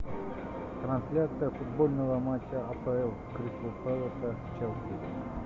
трансляция футбольного матча апл кристал пэласа с челси